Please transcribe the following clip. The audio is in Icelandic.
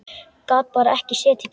Gat bara ekki setið kyrr.